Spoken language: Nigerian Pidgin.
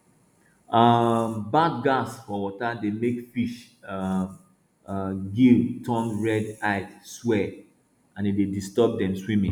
um bad gas for water dey make fish um gill turn red eye swell and e dey disturb dem swimming